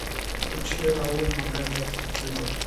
включи рауль магамет дзыбов